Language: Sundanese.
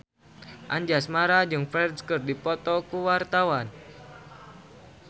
Anjasmara jeung Ferdge keur dipoto ku wartawan